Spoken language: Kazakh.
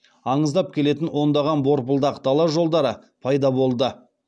андыздап келетін ондаған борпылдақ дала жолдары пайда болды